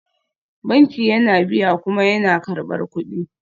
Banki yana biya kuma yana karɓar kuɗi